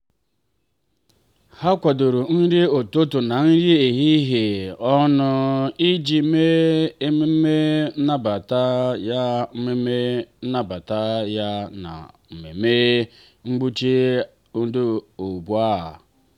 ha kwadoro nri ụtụtụ na nri ehihie ọnụ iji mee ememme nnabata ya ememme nnabata ya na mmemme um mgbanwe mba ụwa.